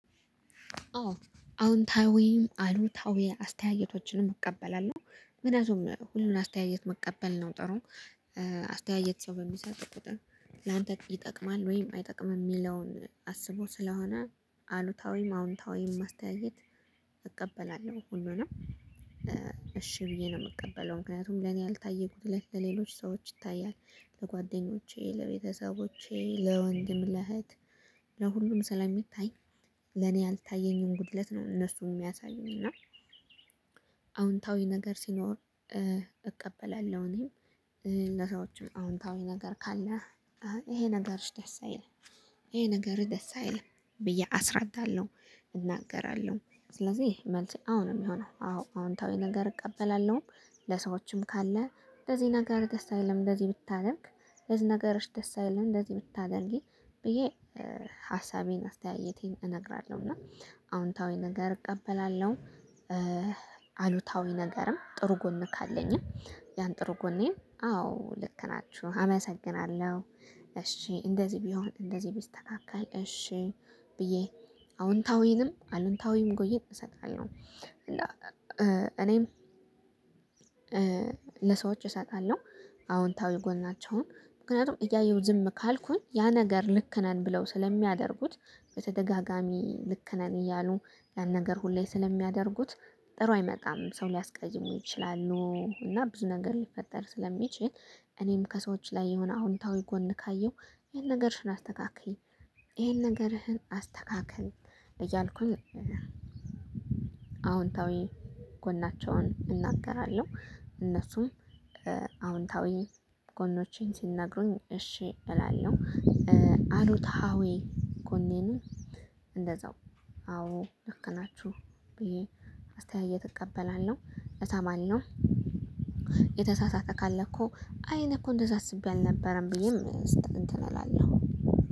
አዎ አዎንታዊም አሉታዊ አስተያየቶችንም እቀበላለው ምክንያቱም ሁሉን አስተያየት መቀበል ነው። ጥሩ አስተያየት ሰው በሚሰጥህ ቁጥር ላንተ ይጠቅማል ወይም አይጠቅምም የሚለውን አስቦ ስለሆነ አሉታዊም አዎንታዊም ማስተያየት እቀበላለው ሁሉንም እሺ ብዬ ነው የምቀበለው። ምክንያቱም ለኔ ያልታየ ጉድለት ሰዎች ይታያል ለጓደኞቼ ለቤተሰቦቼ ለወንድም ለእህት ለሁሉም ስለሚታይ ለኔ ያልታየኝም ጉድለት ነው። እነሱን የሚያሳዩኝ እና። አዎንታዊ ነገር ሲኖር እቀበላለው። እኔም ለሰዎችም አዎንታዊ ነገር ካለ ይሄ ነገርሽ ደስ አይልም ይሄ ነገርህ ደስ አይልም ብዬ አስረዳለው። እናገራለው ስለዚህ መልሴ አሁን ነው የሚሆነው። አሁን ነገር እቀበላለሁም ለሰዎችም ካለ ለዚህ ነገር ደስ አይልም እንደዚህ ብታደርግ እዚህ ነገርሽ ደስ አይልም እንደዚህ ብታደርጊ ብዬ ሀሳቤን አስተያየቴን እነግራለው። እና አዎንታዊ ነገር እቀበላለው። አሉታዊ ነገርም ጥሩ ጎን ካለኝም ያን ጥሩ ጎኔ አዎ ልክ ናችሁ አመሰግናለው። እሺ እንደዚህ ቢሆን እንደዚህ ቢስተካከል እሺ ብዬ አዎንታዊንም አሉታዊም ጎዬ እሰጣለሁ። እና እኔም ለሰዎች እሰጣለው አዎንታዊ ጎን ናቸው ምክንያቱም እያየው ዝም ካልኩኝ ያ ነገር ልክ ነን ብለው ስለሚያደርጉት። በተደጋጋሚ ልክ ነን እያሉ ያን ነገር ሁሌ ስለሚያደርጉት ጥሩ አይመጣም ሰው ሊያስቀይሙ ይችላሉ እና ብዙ ነገር ሊፈጠር ስለሚችል። እኔም ከሰዎች ላይ የሆነ አዎንታዊ ጎን ካየው ይሄን ነገርሽን አስተካክዬ ይሄን ነገርህን አስተካክል እያልኩኝ አዎንታዊ ጎናቸውን እናገራለው። እነሱም አዎንታዊ ጎኖቼን ሲነግሩኝ እሺ እላለሁ። አሉታዊ ጎኔኑን እንደዛው አዎ ልክ ናቹ ብዬ አስተያየት እቀበላለው እሰማለው። የተሳሳተ ካለ እኮ አይ እኔ እኮ እንደዛ አስቤ አልነበረም ብዬም እንትን እላለው